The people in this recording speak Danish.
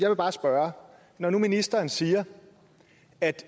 vil bare spørge når nu ministeren siger at